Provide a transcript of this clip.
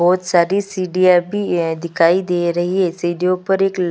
बहुत सारी सीढ़िया भी दिखाई दे रही है सीढ़ियों पर एक लाल--